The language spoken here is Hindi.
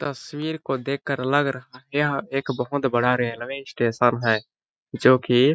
तस्वीर को देखकर लग रहा है यह एक बहोत बड़ा रेलवे स्टेशन है जो की--